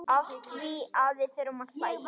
Afþvíað við þurfum að hlæja.